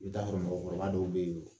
I bɛ t'a sɔrɔ mɔgɔkɔrɔba dɔw bɛ yen